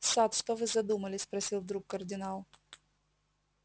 сатт что вы задумали спросил вдруг кардинал